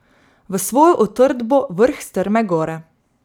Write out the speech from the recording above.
V svojo utrdbo vrh strme gore.